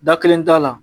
Da kelen t'a la